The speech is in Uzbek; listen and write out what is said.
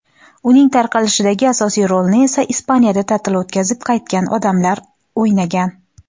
uning tarqalishidagi asosiy rolni esa Ispaniyada ta’til o‘tkazib qaytgan odamlar o‘ynagan.